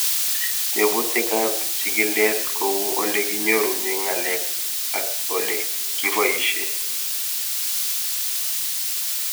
Tebutik ab chig'ilet kou ole kinyorune ng'alek, ak ole kipoishe